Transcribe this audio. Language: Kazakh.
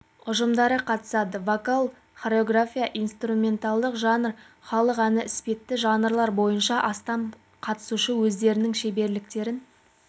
ұжымдары қатысады вокал хореография инструментальдық жанр халық әні іспетті жанрлар бойынша астам қатысушы өздерінің шеберліктерін